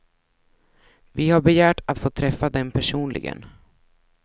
Vi har begärt att få träffa dem personligen.